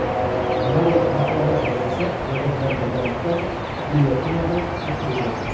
Mariya Antuanetta esa eri bilan birgalikda gilyotinada qatl etildi.